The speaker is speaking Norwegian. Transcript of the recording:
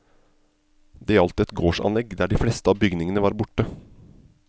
Det gjaldt et gårdsanlegg der de fleste bygningene var borte.